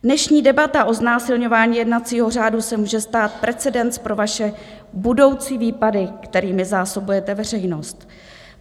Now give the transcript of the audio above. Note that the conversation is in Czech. Dnešní debata o znásilňování jednacího řádu se může stát precedens pro vaše budoucí výpady, kterými zásobujete veřejnost.